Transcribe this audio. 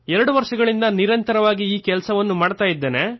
2 ವರ್ಷಗಳಿಂದ ನಿರಂತರವಾಗಿ ಈ ಕೆಲಸ ಮಾಡುತ್ತಿದ್ದೇನೆ